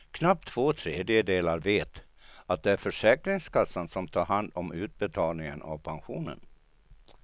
Knappt två tredjedelar vet att det är försäkringskassan som har hand om utbetalningen av pensionen.